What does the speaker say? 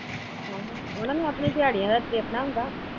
ਆਹੋ ਉਹਨਾਂ ਨੂੰ ਆਪਣੀ ਦਿਆੜੀਂਆ ਦਾ ਦੇਖਨਾ ਹੁੰਦਾ